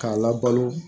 K'a labalo